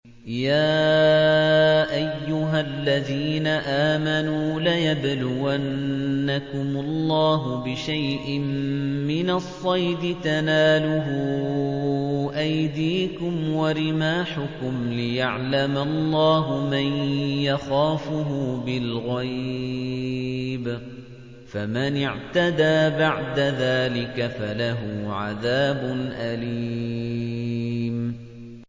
يَا أَيُّهَا الَّذِينَ آمَنُوا لَيَبْلُوَنَّكُمُ اللَّهُ بِشَيْءٍ مِّنَ الصَّيْدِ تَنَالُهُ أَيْدِيكُمْ وَرِمَاحُكُمْ لِيَعْلَمَ اللَّهُ مَن يَخَافُهُ بِالْغَيْبِ ۚ فَمَنِ اعْتَدَىٰ بَعْدَ ذَٰلِكَ فَلَهُ عَذَابٌ أَلِيمٌ